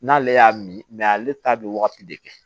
N'ale y'a min ale ta bɛ wagati de kɛ